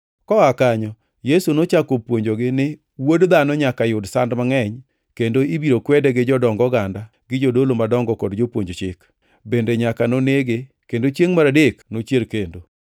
Koa kanyo Yesu nochako puonjogi ni Wuod Dhano nyaka yud sand mangʼeny kendo ibiro kwede gi jodong oganda gi jodolo madongo kod jopuonj chik, bende nyaka nonege kendo chiengʼ mar adek nochier kendo.